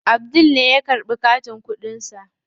Abdul ne ya karɓi katin kuɗin sa.